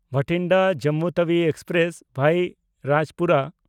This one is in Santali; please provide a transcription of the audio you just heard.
ᱵᱟᱴᱷᱤᱱᱰᱟ–ᱡᱚᱢᱢᱩ ᱛᱟᱣᱤ ᱮᱠᱥᱯᱨᱮᱥ (ᱵᱷᱟᱭᱟ ᱨᱟᱡᱪᱯᱩᱨᱟ)